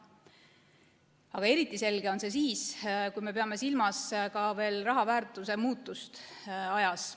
Aga eriti selge on see siis, kui me peame silmas ka raha väärtuse muutust ajas.